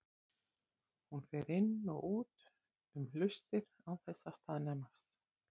Hún fer inn og út um hlustir án þess að staðnæmast.